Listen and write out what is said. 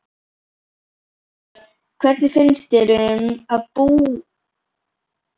Fréttamaður: Hvernig finnst þér að búa undir svona?